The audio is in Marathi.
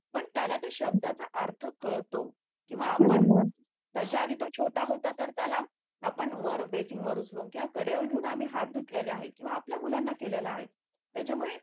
त्याला ते शब्दाचा अर्थ कळतो किंवा आपण त्याच्या आधी तो छोटा होता तर त्याला आपण वर बेसिंग वर बसून किंवा कडेवर घेऊन आम्ही हात धुतलेला आहे किंवा आपल्या मुलांना केलेला आहे